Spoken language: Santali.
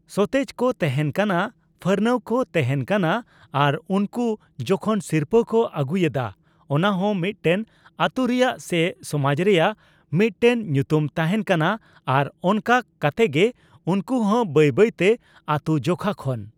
ᱥᱚᱛᱮᱡᱠᱚ ᱛᱮᱦᱮᱱ ᱠᱟᱱᱟ ᱯᱷᱟᱨᱱᱟᱣ ᱠᱚ ᱛᱮᱦᱮᱱ ᱠᱟᱱᱟ ᱟᱨ ᱩᱱᱠᱩ ᱡᱚᱠᱷᱚᱱ ᱥᱤᱨᱯᱟᱹ ᱠᱚ ᱟᱹᱜᱩᱭᱮᱫᱟ ᱚᱱᱟᱦᱚᱸ ᱢᱤᱫᱽᱴᱮᱱ ᱟᱹᱛᱩᱨᱮᱭᱟᱜ ᱥᱮ ᱥᱚᱢᱟᱡ ᱨᱮᱭᱟᱜ ᱢᱤᱫᱴᱮᱱ ᱧᱩᱛᱩᱢ ᱛᱟᱦᱮᱱ ᱠᱟᱱᱟ ᱟᱨ ᱚᱱᱠᱟ ᱠᱟᱛᱮᱜᱮ ᱩᱱᱠᱩ ᱦᱚᱸ ᱵᱟᱹᱭ ᱵᱟᱹᱭᱛᱮ ᱟᱹᱛᱩ ᱡᱚᱠᱷᱟ ᱠᱷᱚᱱ